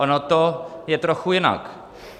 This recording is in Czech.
Ono to je trochu jinak.